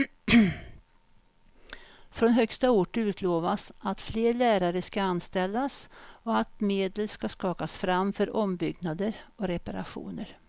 Från högsta ort utlovas att fler lärare ska anställas och att medel ska skakas fram för ombyggnader och reparationer.